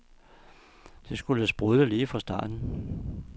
Det skulle sprudle lige fra starten.